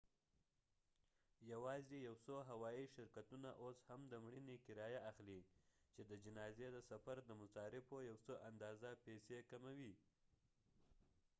یواځې یو څو هوایي شرکتونه اوس هم د مړینې کرایه اخلي چې د جنازې د سفر د مصارفو یو څه اندازه پیسې کموي